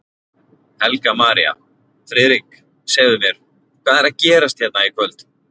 Helga María: Friðrik, segðu mér, hvað er að gerast hérna í kvöld?